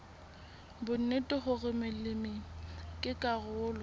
bonnete hore molemi ke karolo